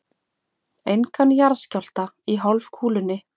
Engan jarðskjálfta í hálfkúlunni.